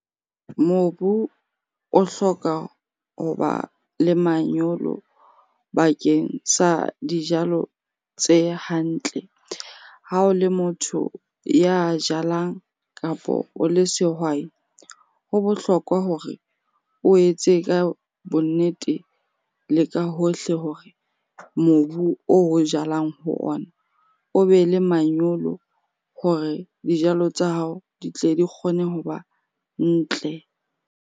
Mobu o hloka hoba le manyolo bakeng sa dijalo tse hantle. Ha o le motho ya jalang kapo o le sehwai, ho bohlokwa hore o etse ka bonnete le ka hohle hore mobu oo o jalang ho ona o be le manyolo hore dijalo tsa hao di tle di kgone ho ba ntle.